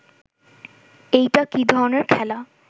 এইটা কি ধরনের খেলা